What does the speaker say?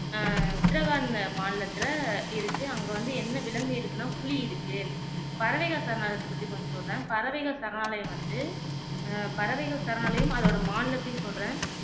அஹ் உத்ராகண்ட் மாநிலத்துல இருக்கு அங்க வந்து என்ன விலங்கு இருக்குன்னா புலி இருக்கு பறவைகள் சரணாலயத்த பத்தி கொஞ்சம் சொல்லுறேன் பறவைகள் சரணாலயம் வந்து அஹ் பறவைகள் சரணாலயம் அதோட மாநிலத்தையும் சொல்லுறேன்